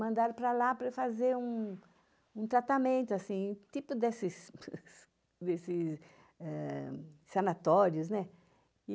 Mandaram para lá para fazer um um tratamento, assim, tipo desses desses desses eh sanatórios, né?